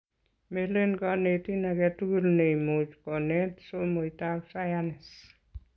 melen konetin aketukul neimuch kunet somoitab sayance